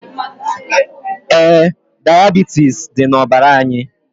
Ee, diabitis dị na ọbara anyi